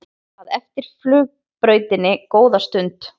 að eftir flugbrautinni góða stund.